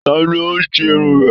Tani o ṣe Irun rẹ?